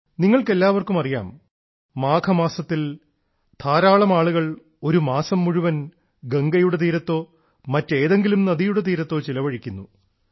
നിങ്ങൾക്കെല്ലാവർക്കും അറിയാം മാഘമാസത്തിൽ ധാരാളം ആളുകൾ ഒരു മാസം മുഴുവൻ ഗംഗയുടെ തീരത്തോ മറ്റേതെങ്കിലും നദിയുടെ തീരത്തോ ചെലവഴിക്കുന്നു